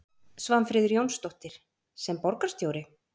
Svanfríður Jónsdóttir: Sem borgarstjóri?